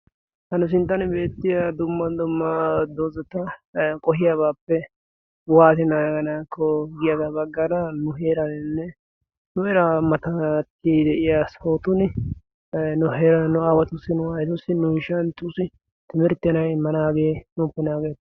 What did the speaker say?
Ha nu sinttan beettiya dumma dumma doozata qohiyaabappe waatti naaganakko giyaaga baggaara nu heeraninne nu heeraa matatti de'iyaa sohotussi: nu aawatussi, nu aayyetussi, nu ishshantussi timirttiyaa nu immanage nuuppe nanggettees.